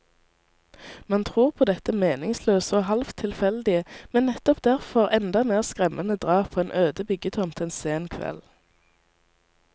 Man tror på dette meningsløse og halvt tilfeldige, men nettopp derfor enda mer skremmende drap på en øde byggetomt en sen kveld.